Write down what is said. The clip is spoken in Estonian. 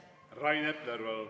Rain Epler, palun!